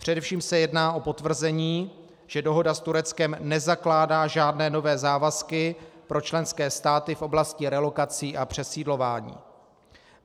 Především se jedná o potvrzení, že dohoda s Tureckem nezakládá žádné nové závazky pro členské státy v oblasti relokací a přesídlování.